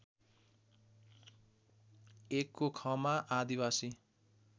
१ को ख मा आदिवासी